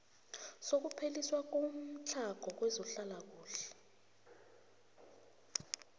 sokupheliswa komtlhago kwezehlalakuhle